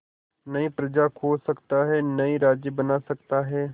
नई प्रजा खोज सकता है नए राज्य बना सकता है